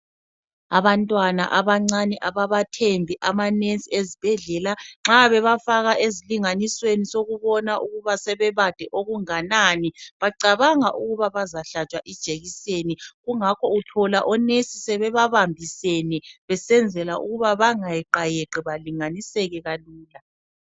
Abantwana abancane ababathembi amanesi ezibhedlela nxa bebafaka esilinganisweni sokubona ukuba sebebade okunganani, bacabanga ukuba bazahlatshwa ijekiseni kungakho uthola onesi sebebabambiseni besenzela ukuba bengayeqayeqi balinganiseke kalula.